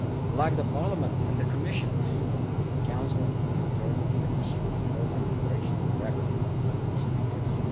Like Parliament and the Commission, the Council has returned to the issue of Roma integration regularly in recent years.